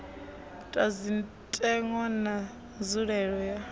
ta zwitenwa na nzulelele ya